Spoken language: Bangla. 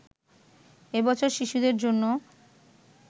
এ বছর শিশুদের জন্য